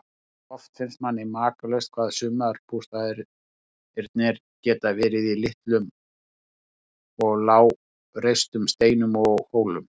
Oft finnst manni makalaust hvað bústaðirnir geta verið í litlum og lágreistum steinum og hólum.